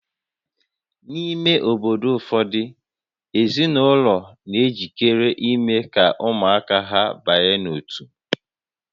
N'ime obodo ụfọdụ, ezinụlọ na-ejikere ime ka ụmụaka ha banye n'ótú